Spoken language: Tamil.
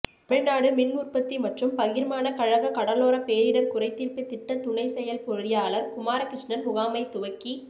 தமிழ்நாடு மின் உற்பத்தி மற்றும் பகிர்மான கழக கடலோர பேரிடர் குறைதீர்ப்பு திட்ட துணை செயல்பொறியாளர் குமாரகிருஷ்ணன் முகாமை துவக்கி